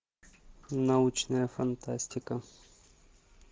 научная фантастика